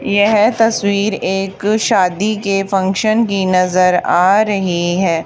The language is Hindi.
यह तस्वीर एक शादी के फंक्शन की नजर आ रही है।